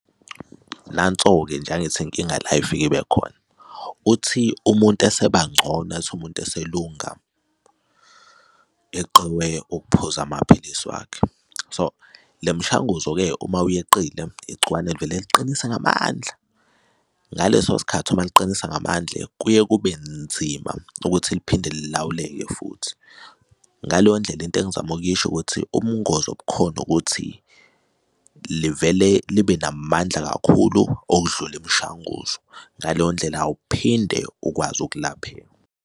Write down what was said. Nanso-ke nje angithi inkinga la ifike ibe khona. Uthi umuntu eseba ngcono ethi umuntu eselunga eqiwe ukuphuza amaphilisi wakhe. So le mishanguzo-ke uma uyeqile igciwane livele liqinise ngamandla, ngaleso sikhathi uma liqinisa ngamandla kuye kube nzima ukuthi liphinde lilawuleke futhi. Ngaleyo ndlela into engizama ukukusho ukuthi ubungozi obukhona ukuthi livele libe namandla kakhulu okudlula imishanguzo ngaleyo ndlela awuphinde ukwazi ukulapheka.